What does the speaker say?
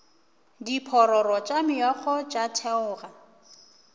diphororo tša meokgo tša theoga